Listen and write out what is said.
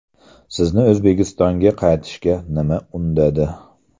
Sizni, O‘zbekistonga qaytishga nima undadi?